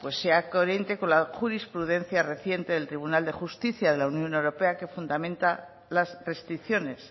sea coherente con la jurisprudencia reciente del tribunal de justicia de la unión europea que fundamenta las restricciones